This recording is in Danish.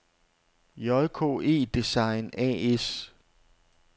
JKE Design A/S